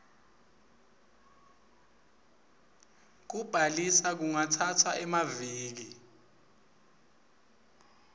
kubhaliswa kungatsatsa emaviki